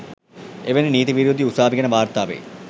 එවැනි නීති විරෝධී උසාවි ගැන වාර්තා වෙයි.